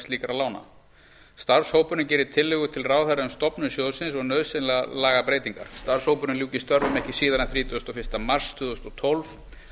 slíkra lána starfshópurinn geri tillögu til ráðherra um stofnun sjóðsins og nauðsynlegar lagabreytingar starfshópurinn ljúki störfum ekki síðar en þrítugasta og fyrsta mars tvö þúsund og tólf